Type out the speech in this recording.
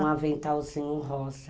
Um aventalzinho rosa.